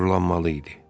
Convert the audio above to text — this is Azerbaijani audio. Qürurlanmalı idi.